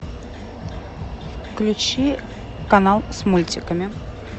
включи канал с мультиками